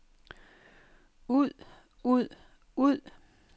ud ud ud